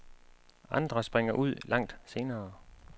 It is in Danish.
Andre springer ud langt senere.